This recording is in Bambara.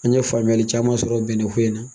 An ɲe faamuyali caman sɔrɔ bɛnnɛ ko in na